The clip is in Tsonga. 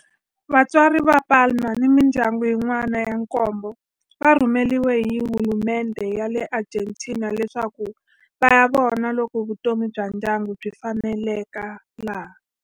Vatswari va Palma ni mindyangu yin'wana ya nkombo va rhumeriwe hi hulumendhe ya le Argentina leswaku va ya vona loko vutomi bya ndyangu byi faneleka laha.